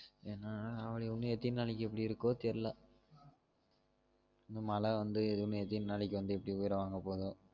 ஏன்னா ஆவணி ஒன்னு எத்தனி நாளைக்கு இப்புடி இருக்கோ தெர்ல இன்னும் மழ வந்து இதுவுமே எத்தினி நாளைக்கு இப்டி உயிரை வாங்க போகுதோ